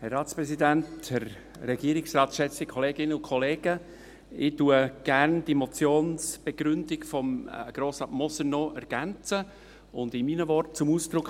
Gerne ergänze ich die Motionsbegründung von Grossrat Moser und bringe es in meinen Worten zum Ausdruck: